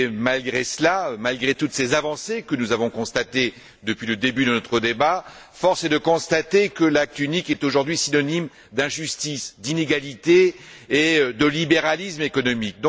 Malgré cela, malgré toutes ces avancées que nous avons constatées depuis le début de notre débat, force est de constater que l'Acte unique est aujourd'hui synonyme d'injustice, d'inégalité et de libéralisme économique.